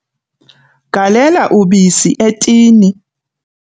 Galela ubisi etini.